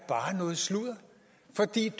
et